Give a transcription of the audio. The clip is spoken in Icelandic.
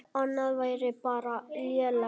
Annað væri bara lélegt.